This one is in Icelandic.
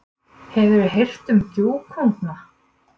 Hefuru heyrt um gjúkunga?